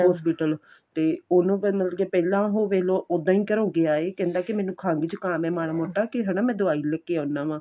hospital ਤੇ ਉਹਨੂੰ ਕੇ ਮਤਲਬ ਕੀ ਪਹਿਲਾਂ ਹੋਵੇ ਉਦਾ ਈ ਘਰੋ ਗਿਆ ਏ ਕਹਿੰਦਾ ਕੀ ਮੈਨੂੰ ਖੰਗ ਜੁਕਾਮ ਏ ਮਾੜਾ ਮੋਟਾ ਹਨਾ ਕੇ ਮੈਂ ਦਵਾਈ ਲੈਕੇ ਆਨਾ ਵਾ